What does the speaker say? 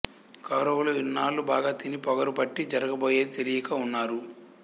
కౌరవులు ఇన్నాళ్ళు బాగా తిని పొగరు పట్టి జరగబోయేది తెలియక ఉన్నారు